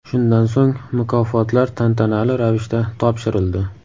Shundan so‘ng mukofotlar tantanali ravishda topshirildi.